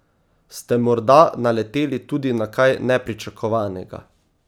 Ste morda naleteli tudi na kaj nepričakovanega?